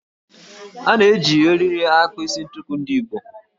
A na-eji eriri akpa isi ntukwu ndị Igbo